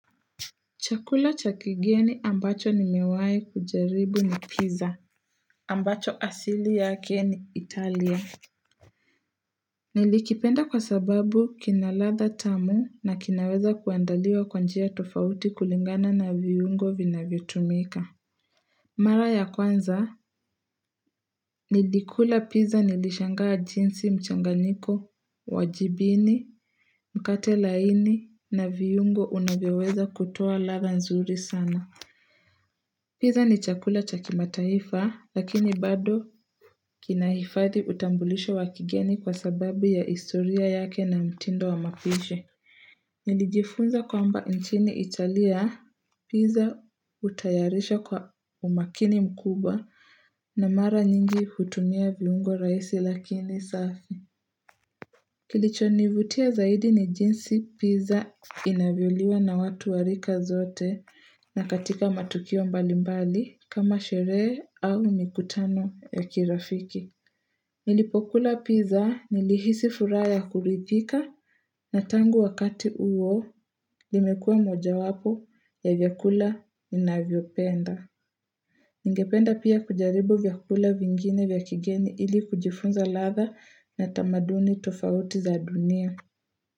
Chakula cha kigeni ambacho nimewai kujaribu ni pizza. Ambacho asili yake ni Italia. Nilikipenda kwa sababu kina ladha tamu na kinaweza kuandaliwa kwa njia tofauti kulingana na viungo vinavyotumika. Mara ya kwanza, nilikula pizza nilishangaa jinsi mchanganiko, wa jibini, mkate laini na viungo unavyoweza kutoa ladha nzuri sana. Pizza ni chakula cha kimataifa lakini bado kinahifadhi utambulisho wakigeni kwa sababu ya historia yake na mtindo wa mapishi. Nijifunza kwamba nchini Italia, pizza hutayarisha kwa umakini mkubwa na mara nyingi hutumia viungo rahisi lakini safi. Kilichonivutia zaidi ni jinsi pizza inavyoliwa na watu wa rika zote na katika matukio mbalimbali kama sherehe au mikutano ya kirafiki. Nilipokula pizza nilihisi furaha kurifika na tangu wakati huo limekua moja wapo ya vyakula ninavyopenda. Ningependa pia kujaribu vyakula vingine vya kigeni ili kujifunza ladha na tamaduni tofauti za dunia.